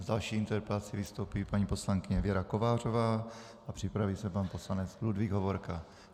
S další interpelací vystoupí paní poslankyně Věra Kovářová a připraví se pan poslanec Ludvík Hovorka.